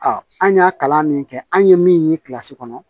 an y'a kalan min kɛ an ye min ye kɔnɔ